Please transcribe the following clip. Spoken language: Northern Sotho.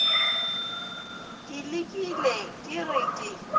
ke lekile ke re ke